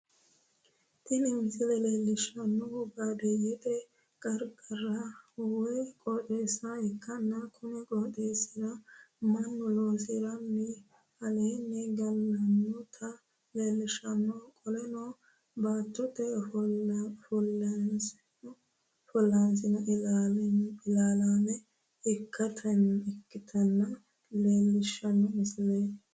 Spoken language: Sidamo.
Tini misile leelishanohu baadiyete qarqara woyi qooxeessa ikkanna konni qooxeesira Manu loosirenna alaa'le galanotata leelishano qoleno baattote ofollanoseno ilaalaame ikitinota leelishano misileeti.